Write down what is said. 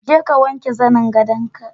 Je ka wanke zannin gadonka.